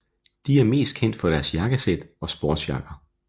De er mest kendt for deres jakkesæt og sportsjakker